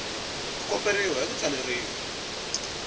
ku komberiwa hi ku tsaleriwa